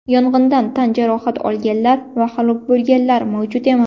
Yong‘indan tan jarohat olganlar va halok bo‘lganlar mavjud emas.